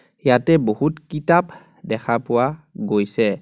ইয়াতে বহুত কিতাপ দেখা পোৱা গৈছে.